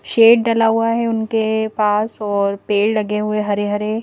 shade डला हुआ है उनके पास और पेड़ लगे हुए हरे हरे--